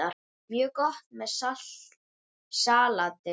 Mjög gott með salati.